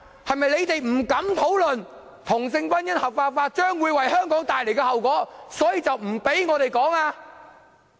他們是否不敢討論同性婚姻合法化將會為香港帶來的後果，所以便不准我們討論？